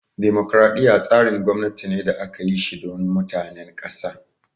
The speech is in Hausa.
Dimokraɗiya tsarin gwamnati ne da aka yi shi don mutanen ƙasa